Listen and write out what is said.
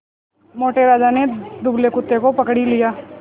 मोटे राजा ने दुबले कुत्ते को पकड़ ही लिया